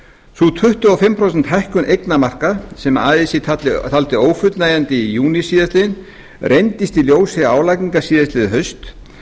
sú tuttugu og fimm prósenta hækkun eignamarka sem así taldi ófullnægjandi í júní síðastliðinn reyndist í ljósi álagningar síðastliðið haust